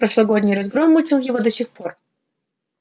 прошлогодний разгром мучил его до сих пор